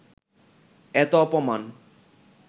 এত অপমান